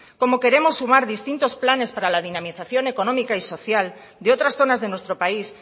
como queremos sumar distintos planes para la dinamización económica y social de otras zonas de nuestro país